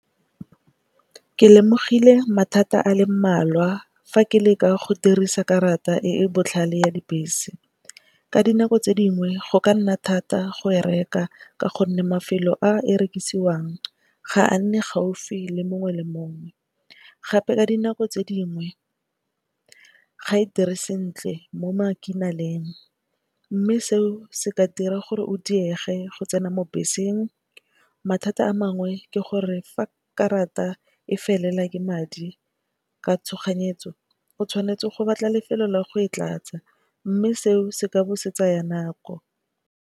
Ke lemogile mathata a le mmalwa fa ke le ka go dirisa karata e e botlhale ya dibese. Ka dinako tse dingwe go ka nna thata go e reka ka gonne mafelo a e rekisiwang ga a nne gaufi le mongwe le mongwe. Gape ka dinako tse dingwe ga e dire sentle mo . Mme seo se ka dira gore o diege go tsena mo beseng. Mathata a mangwe ke gore fa karata e felela ke madi ka tshoganyetso o tshwanetse go batla lefelo la go e tlatsa mme seo se ka busetsa ya nako.